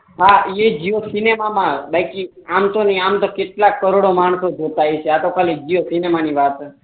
હા એ તો જીઓ સિનેમામાં મા આમ તો બાકી કેટલાક કરોડો માંગતો તો આ તો જીઓ સિનેમા ની વાત છે